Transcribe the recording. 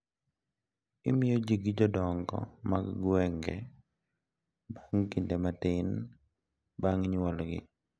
Imiyogi gi jodongo mag gwenge bang’ kinde matin bang’ nyuolgi.